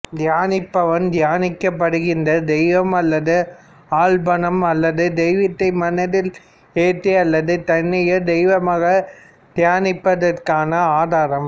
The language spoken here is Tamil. தியானிப்பவன் தியானிக்கப்படுகின்ற தெய்வம் மற்றும் ஆலம்பனம் அல்லது தெய்வத்தை மனதில் ஏற்றி அல்லது தன்னையே தெய்வமாகத் தியானிப்பதற்கான ஆதாரம்